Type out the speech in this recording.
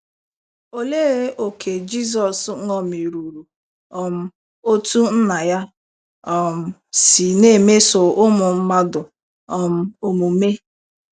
Olee ókè Jizọs ṅomiruru um otú Nna ya um si na - emeso ụmụ mmadụ um omume?